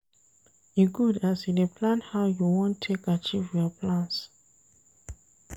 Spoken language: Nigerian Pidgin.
E good as you dey plan how you wan take achieve your plans.